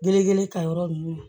Bere ta yɔrɔ nunnu na